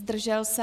Zdržel se?